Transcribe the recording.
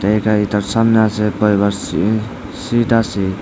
এইটা এইটার সামনে আসে বইবার সি সিট আসে।